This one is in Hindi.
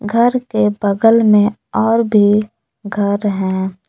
घर के बगल में और भी घर है।